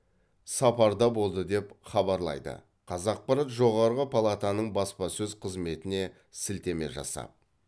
сапарда болды деп хабарлайды қазақпарат жоғарғы палатаның баспасөз қызметіне сілтеме жасап